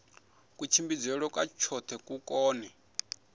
kutshimbidzelwe kwa khothe ku kone